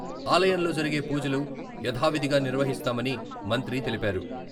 ఆలయంలో జరిగే పూజలు యథావిధిగా నిర్వహిస్తామని మంత్రి తెలిపారు.